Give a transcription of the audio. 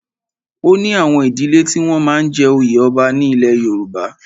O ní àwọn ìdílẹ́ tí wọ́n máa ń jẹ oyè ọba ní ilẹ̀ Yorùbá.